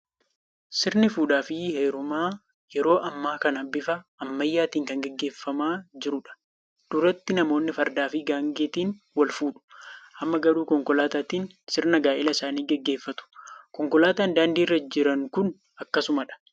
Sirni fuudhaa fi heerumaa yeroo ammaa kana bifa ammayyaatiin kan gaggeeffamaa jirudha. Duratti namoonni fardaa fi gaangeetiin wal fuudhu. Amma garuu konkolaataatiin sirna gaa'ela isaanii gaggeeffatu. Konkolaataan daandii irra jiran kun akkasumadha.